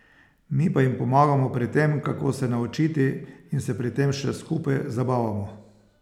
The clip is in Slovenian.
Mi pa jim pomagamo pri tem, kako se naučiti, in se pri tem še skupaj zabavamo.